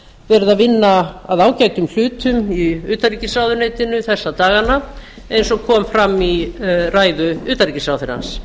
að vinna að ágætum hlutum í utanríkisráðuneytinu þessa dagana eins og kom fram í ræðu utanríkisráðherrans